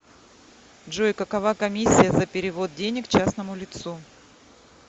джой какова комиссия за перевод денег частному лицу